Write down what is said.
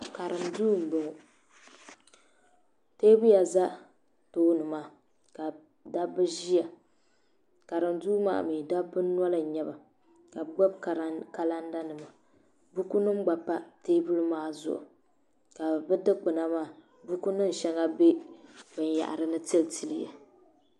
Karim duu m boŋɔ teebuya za tooni maa ka dabba ʒia karim duu maa mee dabba noli n nyɛla ka bɛ gbibi kalanda nima buku nima gba pa teebuli maa zuɣu ka bɛ dikpima maa buku nima sheŋa be binyahari ni tili tili ya.